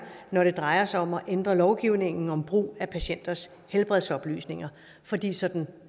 når det drejer sig om at ændre lovgivningen om brug af patienters helbredsoplysninger fordi sådan